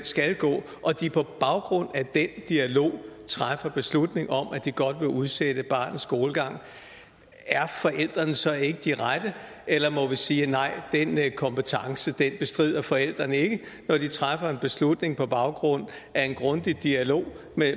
skal gå og de på baggrund af den dialog træffer beslutning om at de godt vil udsætte barnets skolestart er forældrene så ikke de rette eller må vi sige at nej den kompetence bestrider forældrene ikke når de træffer en beslutning på baggrund af en grundig dialog